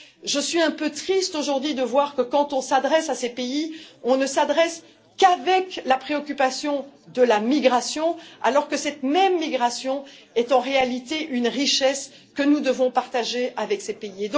Je suis un peu triste aujourd'hui de voir que quand on s'adresse à ces pays, on ne le fait qu'avec la préoccupation de la migration, alors que cette même migration est en réalité une richesse que nous devons partager avec ces pays.